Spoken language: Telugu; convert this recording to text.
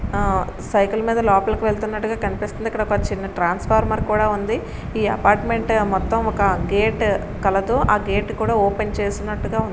ఆ సైకిల్ మీద లోపలికి వెలత్తునట్టుగా కనిపిస్తుంది. ఇక్కడ చిన్న ట్రాన్స్ఫవర్మర్ కూడా ఉంది. ఈ అపార్ట్మెంట్ మొత్తం ఒక గేట్ కలదు. ఆ గేట్ కూడా ఓపెన్ చేసినట్టుగా--